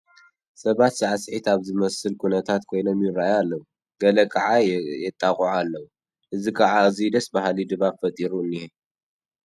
ሰባት ሳዕስዒት ኣብ ዝመስል ኩነታት ኮይኖም ይርአዩ ኣለዉ፡፡ ገለ ከዓ የጣቅዑ ኣለዉ፡፡ እዚ ከዓ ኣዝዩ ደስ በሃሊ ድባብ ፈጢሩ እኒሀ፡፡